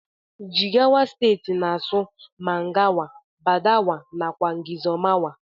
Jigawa stetii n asụ mangawa, badawa nakwa ngizomawa.